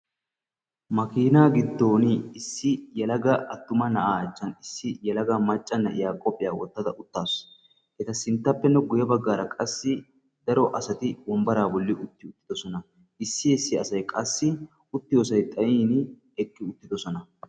Makina giddon issi yelaga attuma na'a achchan issi yelaga macca na'iya qophiyaa wottada uttaasu. Eta sinttappenne guyye baggaara qassi daro asari wombbara bolli utti uttidoosona, issi issi asay qassi uttiyoosay xayyin eqqi uttidoosona.